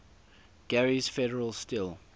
gary's federal steel